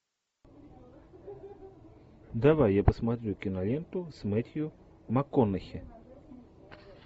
давай я посмотрю киноленту с мэттью макконахи